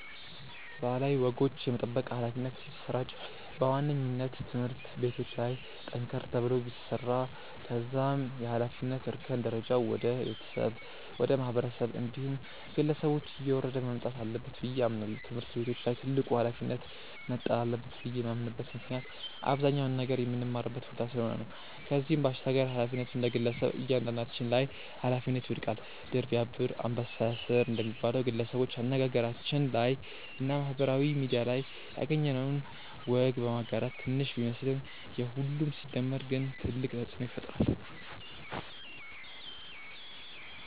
ባህላዊ ወጎች የመጠበቅ ኃላፊነት ሲሰራጭ በዋነኝነት ትምህርት ቤቶች ላይ ጠንከር ተብሎ ቢሰራ ከዛም የኃላፊነት እርከን ደረጃው ወደ ቤተሰብ፣ ወደ ማህበረሰብ እንዲሁም ግለሰቦች እየወረደ መምጣት አለበት ብዬ አምናለው። ትምህርት ቤቶች ላይ ትልቁ ኃላፊነት መጣል አለበት ብዬ የማምንበት ምክንያት አብዛኛውን ነገር ምንማርበት ቦታ ስለሆነ ነው። ከዚህም ባሻገር ኃላፊነቱ እንደግለሰብ እያንዳንዳችን ላይ ኃላፊነቱ ይወድቃል። 'ድር ቢያብር አንበሳ ያስር' እንደሚባለው፣ ግለሰቦች አነጋገራችን ላይ እና ማህበራዊ ሚድያ ላይ ያገኘነውን ወግ በማጋራት ትንሽ ቢመስለንም የሁሉም ሲደመር ግን ትልቅ ተጽእኖ ይፈጥራል።